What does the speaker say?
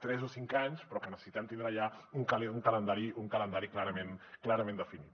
tres o cinc anys però necessitem tindre ja un calendari clarament definit